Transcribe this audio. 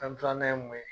An filanan ye mun ye